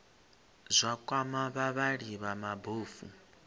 zwa kwama vhavhali vha mabofu